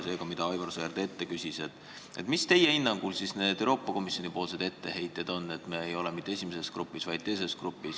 Aivar Sõerd juba küsis seda, aga mida teie hinnangul Euroopa Komisjon meile ette heidab, et me ei ole mitte esimeses grupis, vaid teises grupis?